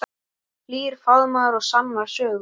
Hlýr faðmur og sannar sögur.